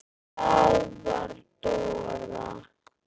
Það var Dóra.